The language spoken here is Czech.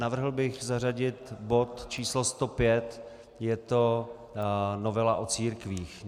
Navrhl bych zařadit bod číslo 105, je to novela o církvích.